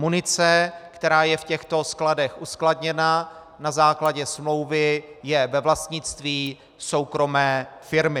Munice, která je v těchto skladech uskladněna na základě smlouvy, je ve vlastnictví soukromé firmy.